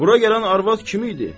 Bura gələn arvad kim idi?